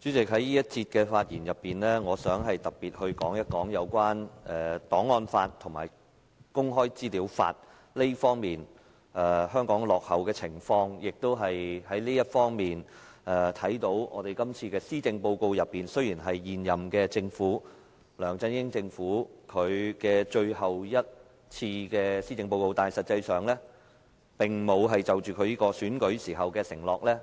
主席，在這辯論環節中，我想特別談談有關香港在檔案法和公開資料法方面落後的情況，而從這方面可見，今次這份施政報告雖然是現屆政府，即梁振英政府最後一份的施政報告，但實際上他並沒有兌現競選時所作的承諾。